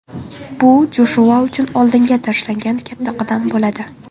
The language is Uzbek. Bu Joshua uchun oldinga tashlangan katta qadam bo‘ladi.